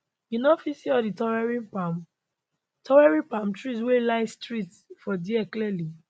you no fit see all di towering palm towering palm trees wey line streets for dia clearly